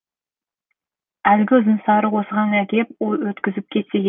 әлгі ұзын сары осыған әкеп өткізіп кетсе керек